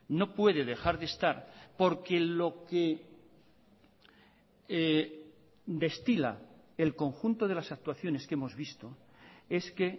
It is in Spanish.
no puede dejar de estar porque lo que destila el conjunto de las actuaciones que hemos visto es que